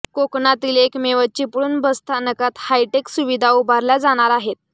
कोकणातील एकमेव चिपळूण बसस्थानकात हायटेक सुविधा उभारल्या जाणार आहेत